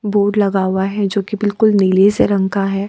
Board लगा हुआ है जो कि बिल्कुल नीले से रंग का है।